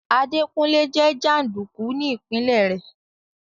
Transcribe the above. Adékúnlé jẹ́ jàndùkù ní ìpinlẹ̀ rẹ̀